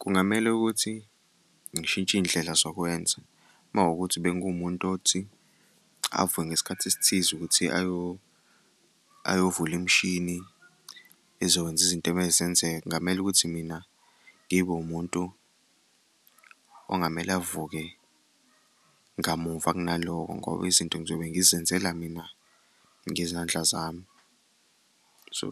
Kungamele ukuthi ngishintshe iy'ndlela zokwenza uma kuwukuthi bengiwumuntu othi avuke ngesikhathi esithize ukuthi ayovula imishini ezokwenza izinto ekumele zenzeke. Kungamele ukuthi mina ngibe wumuntu okungamele avuke ngamuva kunalokho ngoba izinto ngizobe ngizenzela mina ngezandla zami. So,